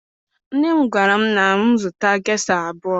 Nne m gwara m na mụ zụta gesha abụọ